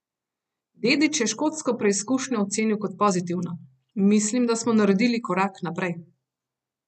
Dedić je škotsko preizkušnjo ocenil kot pozitivno: 'Mislim, da smo naredili korak naprej.